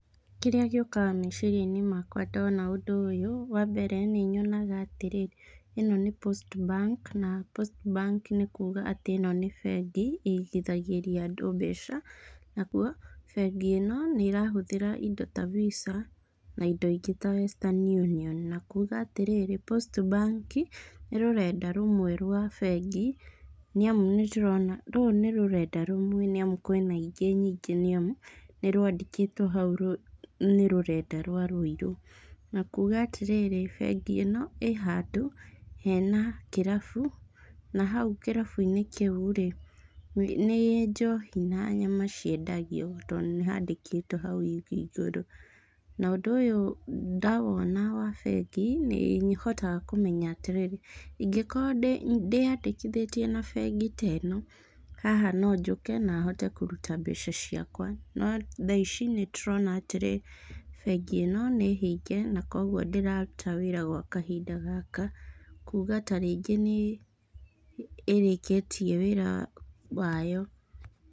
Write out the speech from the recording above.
Kĩrĩa gĩũkaga meciriainĩ makwa ndona ũndũ ũyũ, wa mbere nĩ nyonaga atĩrĩ ĩno nĩ Postbank na Postbank nĩ kuuga ĩno nĩ bengi ĩigithagĩria andũ mbĩca. Naguo bengi ino nĩ irahũthĩra indo ta Visa na indo ingĩ ta Western Union na kuuga atĩrĩrĩ Post Bank nĩ rũrenda rũmwe rwa bengi nĩ amu nĩ ndĩrona rũrũ nĩ rũrenda rũmwe nĩ amu kwĩna ingĩ nyingĩ nĩ amu nĩ rwandĩkĩtwo hau nĩ rũrenda rwa Rũirũ. Na kuuga atĩrĩrĩ bengi ino ii handũ hena kĩrabũ na hau kĩrabũ-inĩ kĩu rĩ, nĩ njohi na nyama ciendagio to nĩ handĩkĩtwo hau igũrũ. Na ũndũ ũyũ ndawona wa bengi nĩ hotaga kũmenya atĩrĩrĩ ingĩkorwo ndĩyandĩkithĩttie na bengi teno haha no njũke na hote kũruta mbeca ciakwa. No tha ici nĩ tũrona atĩrĩ bengi ino nĩ hĩnge na koguo ndĩraruta wĩra gwa kahinda gaka. Kuuga ta rĩngĩ nĩ ĩrĩkĩtie wĩra wayo.